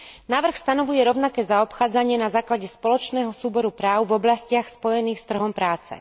Návrh stanovuje rovnaké zaobchádzanie na základe spoločného súboru práv v oblastiach spojených s trhom práce.